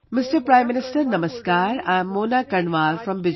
Prime Minister Namaskar, I am Mona Karnwal from Bijnore